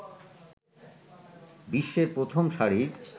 বিশ্বের প্রথম সারির